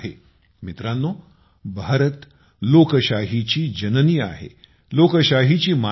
मित्रांनो भारत लोकशाहीची जननी आहे लोकशाहीची माता आहे